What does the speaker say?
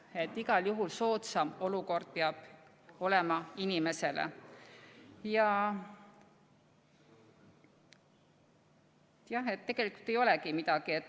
Nii et igal juhul peab olema inimesele soodsam olukord.